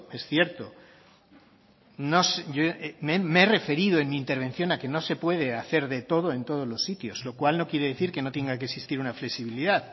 es cierto me he referido en mi intervención a que no se puede hacer de todo en todos los sitios lo cual no quiere decir que no tenga que existir una flexibilidad